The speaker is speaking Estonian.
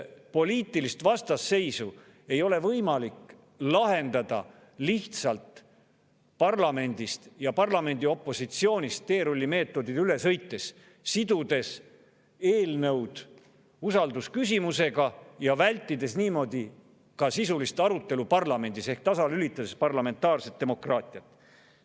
Poliitilist vastasseisu ei ole võimalik lahendada lihtsalt parlamendist ja parlamendi opositsioonist teerullimeetodil üle sõites, sidudes eelnõud usaldusküsimusega ja vältides niimoodi ka sisulist arutelu parlamendis ehk tasalülitades parlamentaarset demokraatiat.